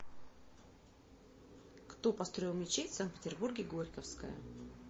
кто построил мечеть в санкт петербурге горьковская